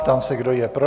Ptám se, kdo je pro.